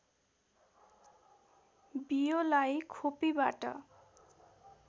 बियोलाई खोपीबाट